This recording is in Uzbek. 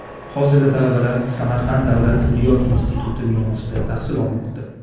Hozirda talabalar Samarqand davlat tibbiyot instituti binosida tahsil olmoqda.